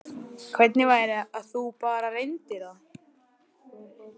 Hvernig væri að þú bara reyndir það?